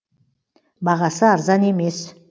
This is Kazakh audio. бағасы арзан емес